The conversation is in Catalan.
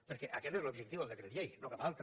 perquè aquest és l’objectiu del decret llei no cap altre